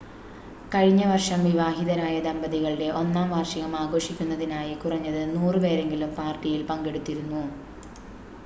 കഴിഞ്ഞ വർഷം വിവാഹിതരായ ദമ്പതികളുടെ ഒന്നാം വാർഷികം ആഘോഷിക്കുന്നതിനായി കുറഞ്ഞത് 100 പേരെങ്കിലും പാർട്ടിയിൽ പങ്കെടുത്തിരുന്നു